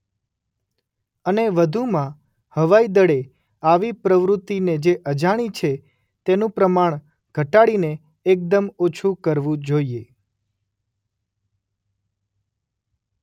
અને વધુમાં હવાઇદળે આવી પ્રવૃતિને જે અજાણી છે તેનું પ્રમાણ ઘટાડીને એકદમ ઓછું કરવું જોઇએ.